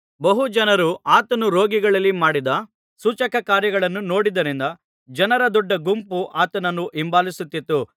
ಬಹು ಜನರು ಆತನು ರೋಗಿಗಳಲ್ಲಿ ಮಾಡಿದ ಸೂಚಕಕಾರ್ಯಗಳನ್ನು ನೋಡಿದ್ದರಿಂದ ಜನರ ದೊಡ್ಡಗುಂಪು ಆತನನ್ನು ಹಿಂಬಾಲಿಸುತ್ತಿತ್ತು